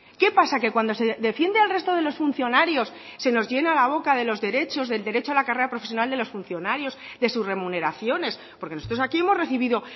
qué pasa que cuando se defiende al resto de los funcionarios se nos llena la boca de los derechos del derecho a la carrera profesional de los funcionarios de sus remuneraciones porque nosotros aquí hemos recibido